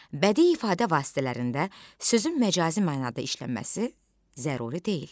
Bədii ifadə vasitələrində sözün məcazi mənada işlənməsi zəruri deyil.